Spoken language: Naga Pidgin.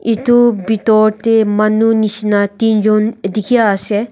itu bitor tey manu nishina tinjun dikhi ase.